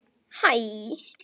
Er þetta sárt?